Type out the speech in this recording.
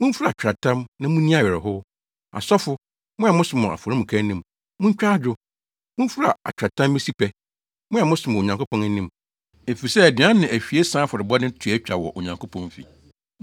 Mumfura atweaatam na munni awerɛhow, asɔfo; mo a mosom wɔ afɔremuka anim, muntwa adwo. Mumfura atweaatam mmesi pɛ, mo a mosom wɔ Onyankopɔn anim; efisɛ aduan ne ahwiesa afɔrebɔde no to atwa wɔ Onyankopɔn fi.